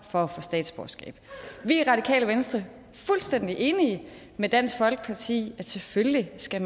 for at få statsborgerskab vi er i radikale venstre fuldstændig enige med dansk folkeparti i at man selvfølgelig skal